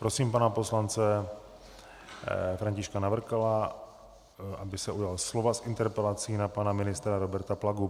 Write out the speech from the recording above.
Prosím pana poslance Františka Navrkala, aby se ujal slova s interpelací na pana ministra Roberta Plagu.